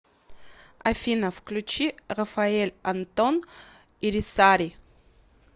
афина включи рафаэль антон ирисари